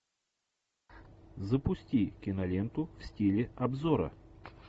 запусти киноленту в стиле обзора